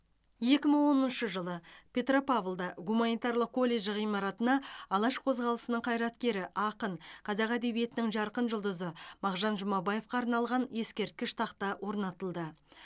екі мың оныншы жылы петропавлда гуминатарлық колледж ғимаратына алаш қозғалысының қайраткері ақын қазақ әдебиетінің жарқын жұлдызы мағжан жұмабаевқа арналған ескерткіш тақта орнатылды